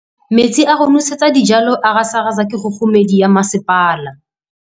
Metsi a go nosetsa dijalo a gasa gasa ke kgogomedi ya masepala.